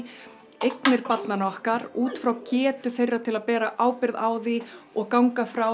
eignir barnanna okkar útfrá getu þeirra til að bera ábyrgð á því og ganga frá